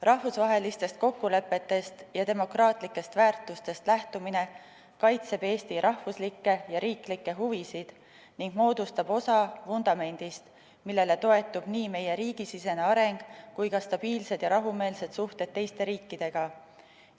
Rahvusvahelistest kokkulepetest ja demokraatlikest väärtustest lähtumine kaitseb Eesti rahvuslikke ja riiklikke huvisid ning moodustab osa vundamendist, millele toetub nii meie riigisisene areng kui ka stabiilsed ja rahumeelsed suhted teiste riikidega.